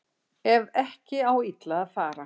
Ef ekki á illa að fara